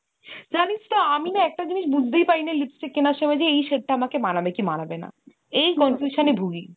জানিস তো আমি না একটা জিনিস বুঝতেই পারিনা lipstick কেনার সময় যে এই shade টা আমাকে মানাবে কি মানাবে না। confusion এ ভুগি।